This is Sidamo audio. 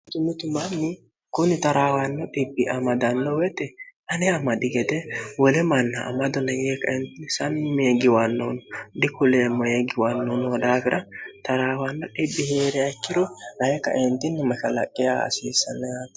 umitu mammi kuni taraawanno dibi amadanno woyite ani amadhi gete woli manna amadonanyee k smmee giwannoono dikuleemmo ee giwannoo no daafira taraawanno dii hee're aciro nayi kaeentinni makalaqqe hasiissanni yano